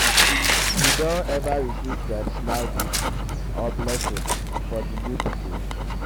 you don ever receive traditional gifts or blessings for di new baby?